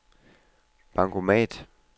bankomat